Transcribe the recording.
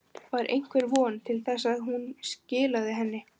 Var einhver von til þess að hún skilaði henni?